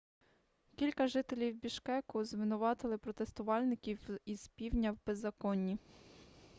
кілька жителів бішкеку звинуватили протестувальників із півдня в беззаконні